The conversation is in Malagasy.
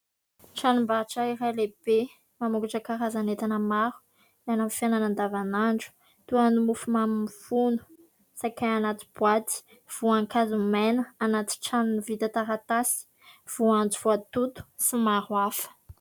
Tranom-barotra iray lehibe mamokatra karazana entana maro miala amin'ny fiainana andavanandro toa ny mofo mamy mifono, saikay anaty boaty, voankazo maina anaty tranony vita taratasy, voanjo voatoto sy maro hafa.